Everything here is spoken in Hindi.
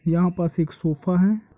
यहाँ पे एक सोफा है और बगल में एक चेयर भी है